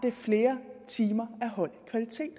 er flere timer af høj kvalitet